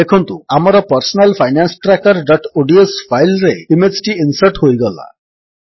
ଦେଖନ୍ତୁ ଆମର personal finance trackerଓଡିଏସ ଫାଇଲ୍ ରେ ଇମେଜ୍ ଟି ଇନ୍ସର୍ଟ ହୋଇଗଲା